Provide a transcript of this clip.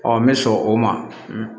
n bɛ sɔn o ma